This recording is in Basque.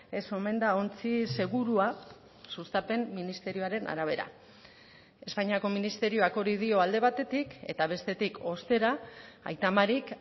ez omen da ontzi segurua sustapen ministerioaren arabera espainiako ministerioak hori dio alde batetik eta bestetik ostera aita marik